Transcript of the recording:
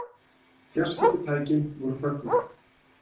Fjarskiptatækin voru þögnuð.